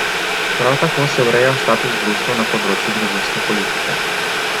Prav tako se ureja status društev na področju družinske politike.